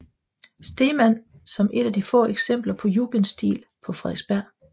Stegmann som et af de få eksempler på jugendstil på Frederiksberg